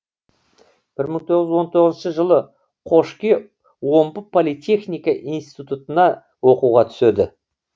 бір мың тоғыз жүз он тоғызыншы жылы қошке омбы политехника институтына оқуға түседі